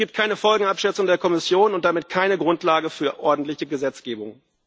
Es gibt keine Folgenabschätzung der Kommission und damit keine Grundlage für ordentliche Gesetzgebung.